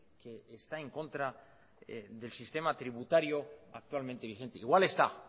que está en contra del sistema tributario actualmente vigente igual está